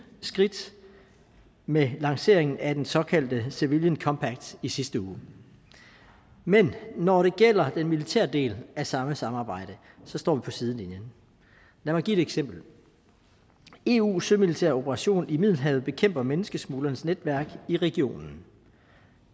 skridt med lanceringen af den såkaldte civilian compact i sidste uge men når det gælder den militære del af samme samarbejde står vi på sidelinjen lad mig give et eksempel eus sømilitære operation i middelhavet bekæmper menneskesmuglernes netværk i regionen